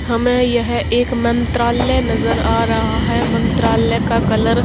हमें यह एक मंत्रालय नजर आ रहा है मंत्रालय का कलर --